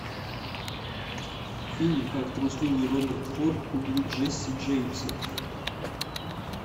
фильм как трусливый роберт форд убил джесси джеймса